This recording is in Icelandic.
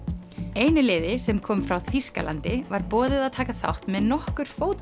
einu liði sem kom frá Þýskalandi var boðið að taka þátt með nokkur